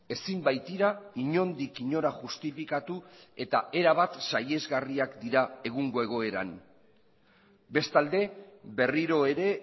ezin baitira inondik inora justifikatu eta erabat sahiesgarriak dira egungo egoeran bestalde berriro ere